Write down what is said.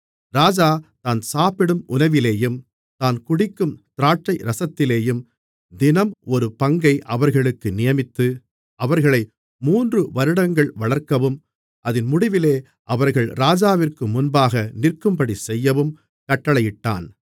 ராஜா தான் சாப்பிடும் உணவிலேயும் தான் குடிக்கும் திராட்சைரசத்திலேயும் தினம் ஒரு பங்கை அவர்களுக்கு நியமித்து அவர்களை மூன்றுவருடங்கள் வளர்க்கவும் அதின் முடிவிலே அவர்கள் ராஜாவிற்கு முன்பாக நிற்கும்படிசெய்யவும் கட்டளையிட்டான்